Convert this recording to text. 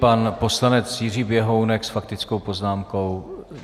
Pan poslanec Jiří Běhounek s faktickou poznámkou.